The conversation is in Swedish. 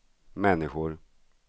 människor